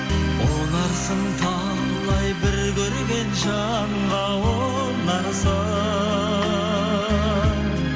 ұнарсың талай бір көрген жанға ұнарсың